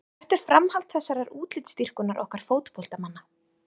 En hvert er framhald þessarar útlitsdýrkunar okkar fótboltamanna?